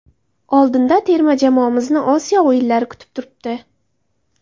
Oldinda terma jamoamizni Osiyo o‘yinlari kutib turibdi.